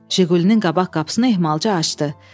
Jigulinin qabaq qapısını ehmalca açdı.